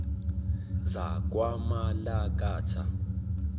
zakwamalakatha